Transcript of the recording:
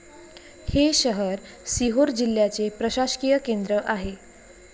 हे शहर सिहोर जिल्ह्याचे प्रशासकीय केंद्र आहे.